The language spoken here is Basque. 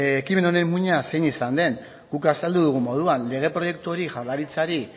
ekimen honen muina zein izan den guk azaldu dugun moduan lege proiektu hori jaurlaritzari